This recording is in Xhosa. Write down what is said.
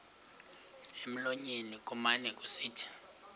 emlonyeni kumane kusithi